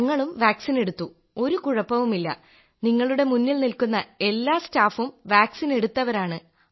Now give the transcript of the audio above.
ഞങ്ങളും വാക്സിൻ എടുത്തു ഒരു കുഴപ്പവുമില്ല നിങ്ങളുടെ മുന്നിൽ നിൽക്കുന്ന എല്ലാ സ്റ്റാഫും വാക്സിൻ എടുത്തവരാണ്